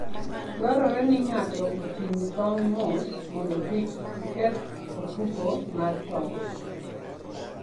Dwarore ni ng'ato oting' tong' mos mondo kik oketh ofuko mar tong'.